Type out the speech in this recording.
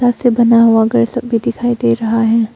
से बना हुआ घर सब भी दिखाई दे रहा है।